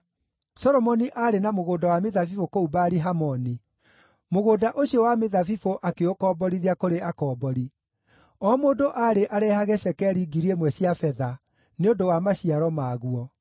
Solomoni aarĩ na mũgũnda wa mĩthabibũ kũu Baali-Hamoni; mũgũnda ũcio wa mĩthabibũ akĩũkomborithia kũrĩ akombori. O mũndũ aarĩ arehage cekeri 1,000 cia betha nĩ ũndũ wa maciaro maguo.